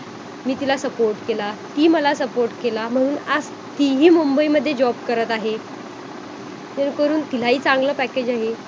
अ आपोआप मनाच्या ह्याच्यातून दिसून येते.शारीरिक क्षमता आपली हळू हळू वाढू लागते.आणि आपण अधिक उत्सुकतेने काम करतो.आपल्यामध्ये अधिक ऊर्जा निर्माण होते.